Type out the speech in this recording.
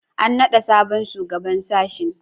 An naɗa sabon shugaban sashe